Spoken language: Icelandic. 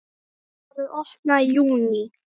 Það verður opnað í júní.